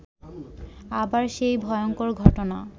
আবার সেই ভয়ঙ্কর ঘটনা